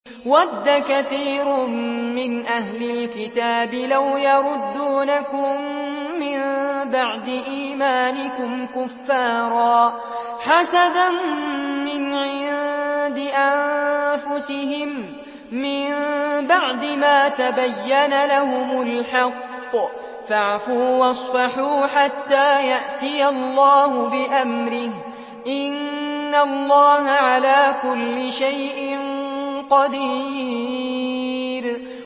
وَدَّ كَثِيرٌ مِّنْ أَهْلِ الْكِتَابِ لَوْ يَرُدُّونَكُم مِّن بَعْدِ إِيمَانِكُمْ كُفَّارًا حَسَدًا مِّنْ عِندِ أَنفُسِهِم مِّن بَعْدِ مَا تَبَيَّنَ لَهُمُ الْحَقُّ ۖ فَاعْفُوا وَاصْفَحُوا حَتَّىٰ يَأْتِيَ اللَّهُ بِأَمْرِهِ ۗ إِنَّ اللَّهَ عَلَىٰ كُلِّ شَيْءٍ قَدِيرٌ